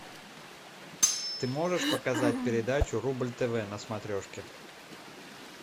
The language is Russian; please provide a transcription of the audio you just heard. ты можешь показать передачу рубль тв на смотрешке